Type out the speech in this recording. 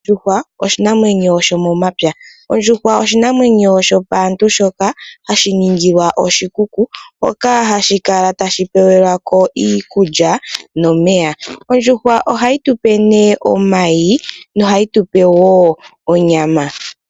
Ondjuhwa oshinamwenyo sho momapya. Ondjuhwa oshinamwenyo sho paantu shoka hashi ningilwa oshikuku, hoka hashi kala tashi pewelako iikulya nomeya. Ondjuhwa ohayi tupe nee omayi nohayi tupe wo onyama.